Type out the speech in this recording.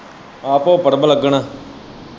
ਆਹੋ ਭੋਗਪੁਰ ਮਲੰਗਣ।